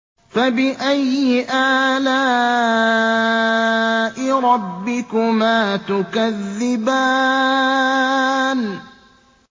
فَبِأَيِّ آلَاءِ رَبِّكُمَا تُكَذِّبَانِ